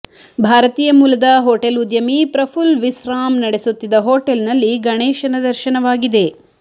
ಭಾರತೀಂುು ಮೂಲದ ಹೋಟೆಲ್ ಉದ್ಯಮಿ ಪ್ರಪುಲ್ ವಿಸ್ರಾಮ್ ನಡೆಸುತ್ತಿದ್ದ ಹೋಟೆಲ್ ನಲ್ಲಿ ಗಣೇಶನ ದರ್ಶನವಾಗಿದೆ